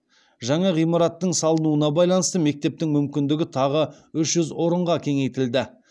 жаңа ғимараттың салынуына байланысты мектептің мүмкіндігі тағы үш жүз орынға кеңейтілді